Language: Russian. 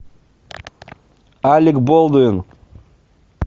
алек болдуин